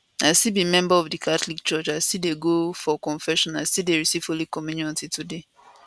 i still be member of di catholic church i still dey go for confession i still dey receive holy communion till today